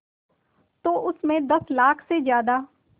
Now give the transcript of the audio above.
तो उस में दस लाख से ज़्यादा